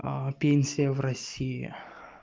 пенсия в россии